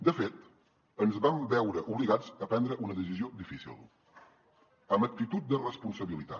de fet ens vam veure obligats a prendre una decisió difícil amb actitud de responsabilitat